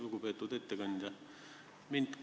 Lugupeetud ettekandja!